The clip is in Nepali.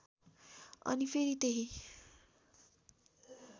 अनि फेरि त्यही